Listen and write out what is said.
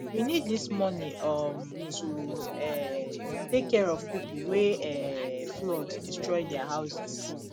we need dis money um to um take care of the people wey um flood destroy their houses